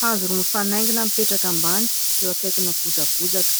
Hazo roa mifanaingina mipetraka ambany, eo akaikina bozabozaka.